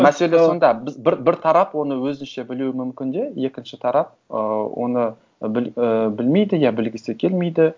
мәселе сонда біз бір тарап оны өзінше білу мүмкін де екінші тарап ы оны ы білмейді я білгісі келмейді